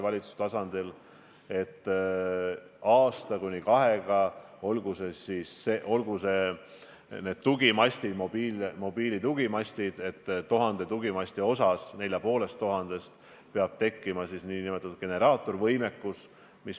Aitäh, lugupeetud aseesimees!